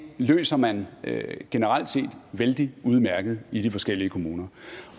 løser man generelt set vældig udmærket i de forskellige kommuner